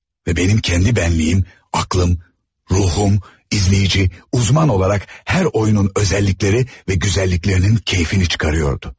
Və mənim kəndi bənliyim, aklım, ruhum, izleyici, uzman olaraq hər oyunun özəllikləri və gözəlliklərinin keyfini çıkarıyordu.